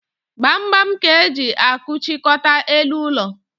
Gbamgbam ka e ji akụchikọta elu ụlọ